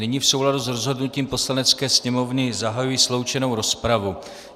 Nyní v souladu s rozhodnutím Poslanecké sněmovny zahajuji sloučenou rozpravu.